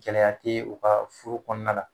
Gɛlɛya tɛ u ka furu kɔnɔna na